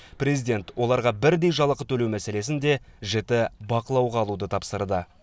президент оларға бірдей жалақы төлеу мәселесін де жіті бақылауға алуды тапсырды